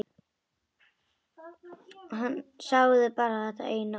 Sagði bara þetta eina orð.